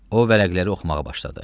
O vərəqləri oxumağa başladı.